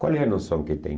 Qual é a noção que tem?